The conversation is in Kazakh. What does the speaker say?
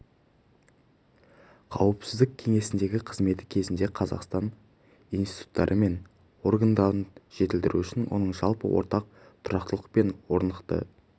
қауіпсіздік кеңесіндегі қызметі кезінде қазақстан институттары мен органдарын жетілдіру үшін оның жалпыға ортақ тұрақтылық пен орнықты